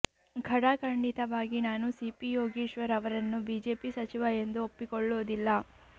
ಖಡಾ ಕಂಡಿತವಾಗಿ ನಾನು ಸಿಪಿ ಯೋಗೀಶ್ವರ್ ಅವರನ್ನು ಬಿಜೆಪಿ ಸಚಿವ ಎಂದು ಒಪ್ಪಿಕೊಳ್ಳೋದಿಲ್ಲ